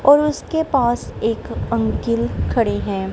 और उसके पास एक अंकल खड़े हैं।